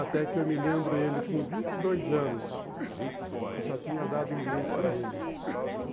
Até que eu me lembro, ele com vinte e dois anos, já tinha dado inglês para ele.